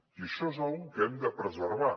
i això és una cosa que hem de preservar